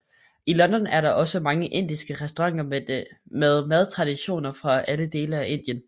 I London er der også mange indiske restauranter med madtraditioner fra alle dele af Indien